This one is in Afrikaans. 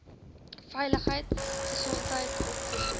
veiligheid gesondheid opvoeding